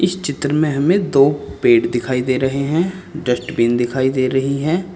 इस चित्र में हमें दो पेड़ दिखाई दे रहे हैं। डस्टबिन दिखाई दे रही है।